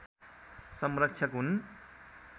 संरक्षक हुन्